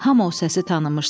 Hamı o səsi tanımışdı.